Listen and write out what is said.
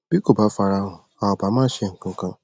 bí kò bá farahàn a ò bá má ṣe nǹkankan